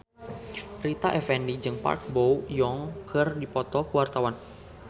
Rita Effendy jeung Park Bo Yung keur dipoto ku wartawan